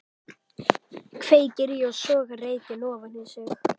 Kveikir í og sogar reykinn ofan í sig.